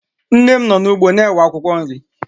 Nne m nọ n'ugbo na-ewe akwụkwọ nri